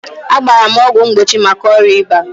A gbara m ọgwụ mgbochi maka ọrịa ịba.